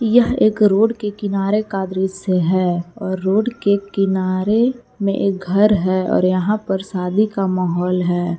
यह एक रोड के किनारे का दृश्य है और रोड के किनारे में एक घर है और यहां पर शादी का माहौल है।